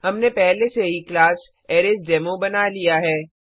हमने पहले से ही क्लास अरेसडेमो बना दिया है